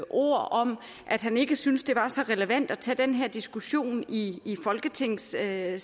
ord om at han ikke synes det er så relevant at tage den her diskussion i folketingssalen